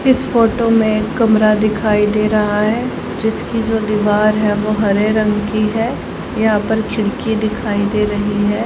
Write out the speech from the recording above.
इस फोटो में कमरा दिखाई दे रहा है जिसकी जो दीवार है वो हरे रंग की है यहां पर खिड़की दिखाई दे रही है।